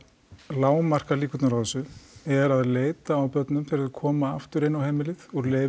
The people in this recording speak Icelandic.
lágmarka líkurnar á þessu er að leita á börnum þegar þau koma aftur inn á heimilið úr leyfum